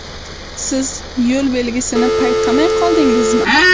Siz yo‘l belgisini payqamay qoldingizmi?